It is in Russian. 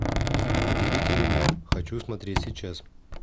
удивительный мир хочу смотреть сейчас